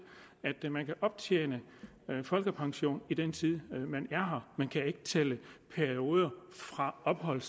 at man kan optjene folkepension i den tid man er her man kan ikke tælle perioder fra ophold